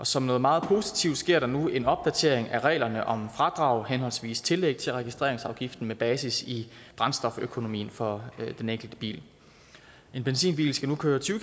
som noget meget positivt sker der nu en opdatering af reglerne om fradrag henholdsvis tillæg til registreringsafgiften med basis i brændstoføkonomien for den enkelte bil en benzinbil skal nu køre tyve